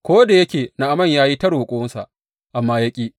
Ko da yake Na’aman ya yi ta roƙonsa, amma ya ƙi.